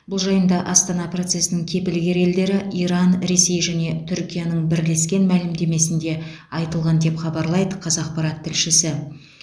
бұл жайында астана процесінің кепілгер елдері иран ресей және түркияның бірлескен мәлімдемесінде айтылған деп хабарлайды қазақпарат тілшісі